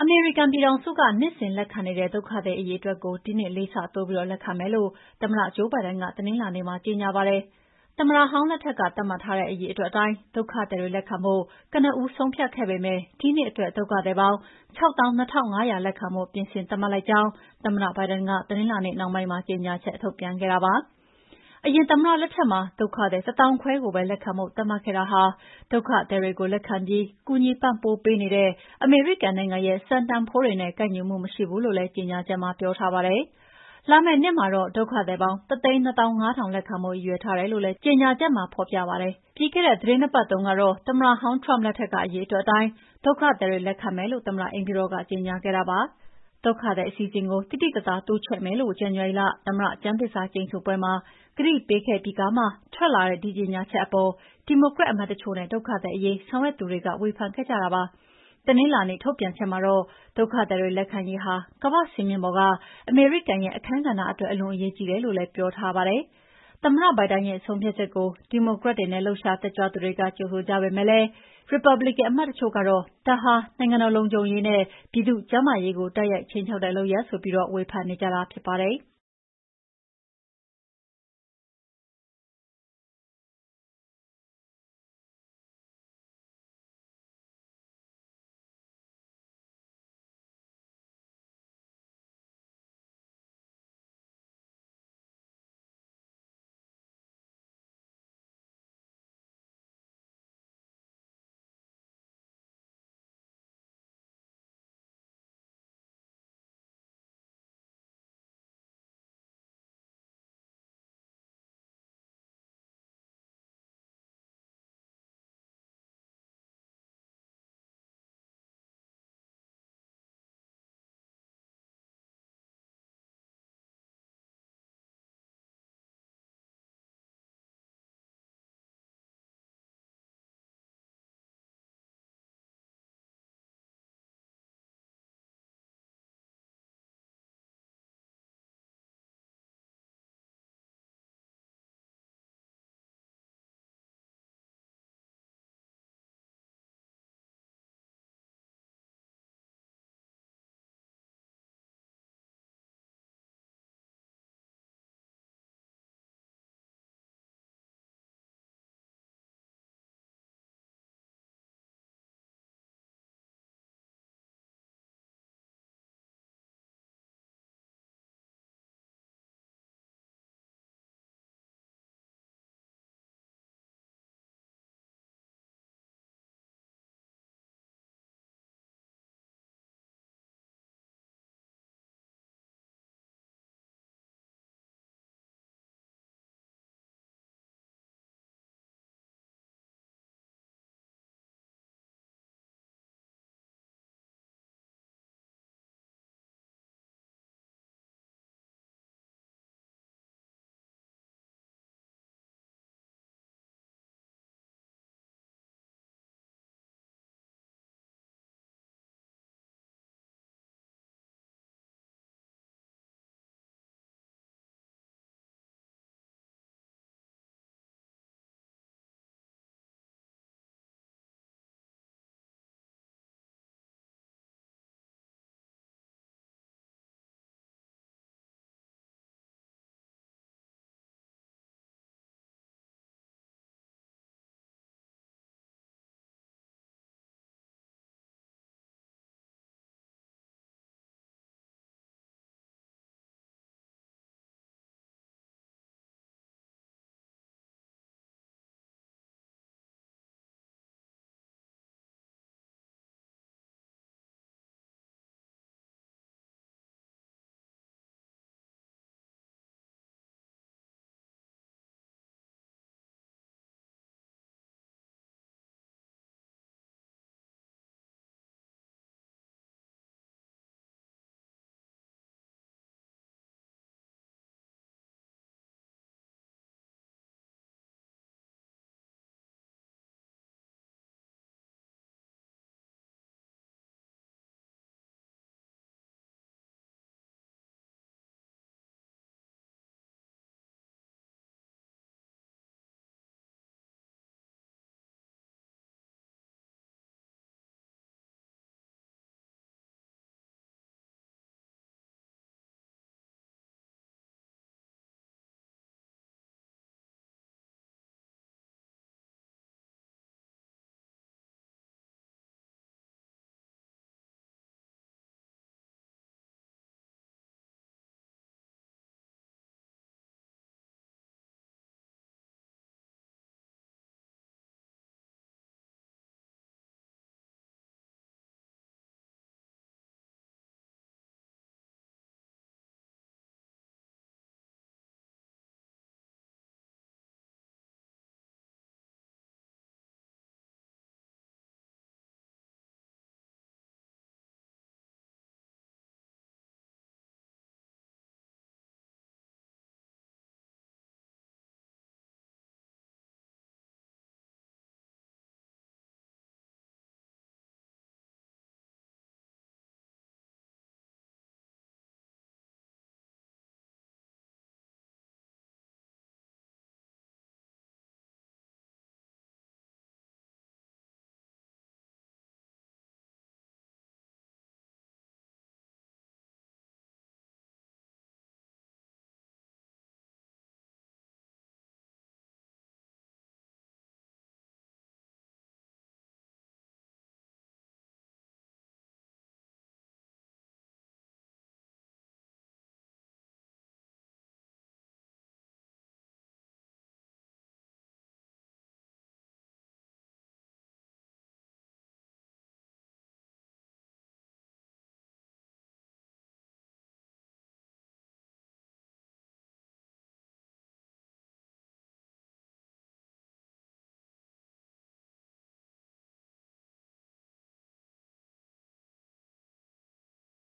မေရိကန်ပြည်ထောင်စုက နှစ်စဉ်လက်ခံနေတဲ့ ဒုက္ခသည်အရေအတွက်ကို ဒီနှစ်လေးဆတိုးပြီးလက်ခံမယ်လို့ သမ္မတ ဂျိုးဘိုင်ဒန်က တနင်္လာနေ့မှာကြေငြာပါတယ်။ သမ္မတဟောင်းလက်ထက်က သတ်မှတ်ထားတဲ့ အရေအတွက်အတိုင်း ဒုက္ခသည်တွေလက်ခံဖို့ ကနဦးဆုံးဖြတ်ခဲ့ပေမဲ့ ဒီနှစ်အတွက် ဒုက္ခသည်ပေါင်း ၆၂,၅၀၀ လက်ခံဖို့ ပြင်ဆင်သတ်မှတ်လိုက်ကြောင်း သမ္မတဘိုင်ဒန်က တနင်္လာနေ့နှောင်းပိုင်းမှာ ကြေငြာချက်ထုတ်ပြန်ခဲ့တာပါ။ အရင်သမ္မတ လက်ထက်မှာ ဒုက္ခသည် ၁၅,၀၀၀ ကိုပဲ လက်ခံဖို့ သတ်မှတ်ခဲ့တာဟာ ဒုက္ခသည်တွေကိုလက်ခံပြီး ကူညီပံ့ပိုးပေးနေတဲ့ အမေရိကန်နိုင်ငံရဲ့ စံတန်ဖိုးတွေနဲ့ ကိုက်ညီမှုမရှိဘူးလို့လည်း ကြေငြာချက်မှာပြောထားပါတယ်။ လာမယ့်နှစ်မှာတော့ ဒုက္ခသည်ပေါင်း ၁၂၅,၀၀၀ လက်ခံဖို့ရည်ရွယ်ထားတယ်လို့လည်း ကြေငြာချက်မှာ ဖော်ပြပါတယ်။ ပြီးခဲ့တဲ့ သီတင်း ၂ ပတ်တုန်းကတော့ သမ္မတဟောင်း Trump လက်ထက်က အရေအတွက်အတိုင်း ဒုကသည်တွေ လက်ခံမယ်လို့ သမ္မတအိမ်ဖြူတော်က ကြေငြာခဲ့ပါတယ်။ ဒုက္ခသည်အစီအစဉ်ကို သိသိသာသာ တိုးချဲ့မယ်လို့ ဇန်နဝါရီလ သမ္မတကျမ်းသစ္စာကျိန်ဆိုပွဲမှာ ကတိပေးခဲ့ပြီးကာမှ ထွက်လာတဲ့ ဒီကြေငြာချက်အပေါ် ဒီမိုကရက်အမတ်တချို့နဲ့ ဒုက္ခသည်အရေးဆောင်ရွက်သူတွေက ဝေဖန်ပြောဆိုခဲ့ကြပါတယ်။ တနင်္လာနေ့ထုတ်ပြန်ချက်မှာတော့ ဒုက္ခသည်တွေလက်ခံရေးဟာ ကမ္ဘာ့စင်မြင့်ပေါ်က အမေရိကန်ရဲ့အခန်းကဏ္ဍအတွက် အလွန်အရေးကြီးတယ်လို့ ဖော်ပြထားပါတယ်။ သမ္မတဘိုင်ဒန်ရဲ့ ဆုံးဖြတ်ချက်ကို ဒီမိုကရက်တွေနဲ့ လှုပ်ရှားတက်ကြွသူတွေက ကြိုဆိုခဲ့ကြပေမယ့် ရီပတ်ဘလစ်ကန်အမတ်တချို့ကတော့ ဒါဟာ နိုင်ငံတော်လုံခြုံရေးနဲ့ ပြည်သူ့ကျန်းမာရေးကို တိုက်ရိုက်ခြိမ်းခြောက်တဲ့ လုပ်ရပ်ဆိုပြီး ဝေဖန်နေကြတာဖြစ်ပါတယ်။